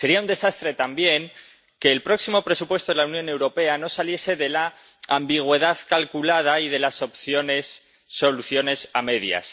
Sería un desastre, también, que el próximo presupuesto de la Unión Europea no saliese de la ambigüedad calculada y de las opciones soluciones a medias.